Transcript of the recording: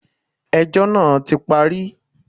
Ẹjọ́ náà ti parí.